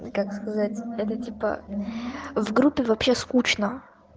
ну как сказать это типа в группе вообще скучно